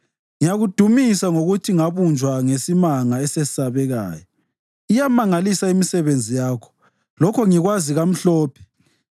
Ngiyakudumisa ngokuthi ngabunjwa ngesimanga esesabekayo; iyamangalisa imisebenzi yakho, lokho ngikwazi kamhlophe.